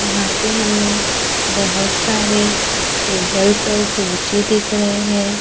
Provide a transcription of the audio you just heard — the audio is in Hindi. यहां पे हमे बहोत सारे टेबल्स और कूची दिख रहे है।